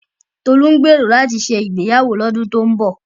Tolú ń gbèrò láti ṣe ìgbéyàwó lọ́dún tó ń bọ̀.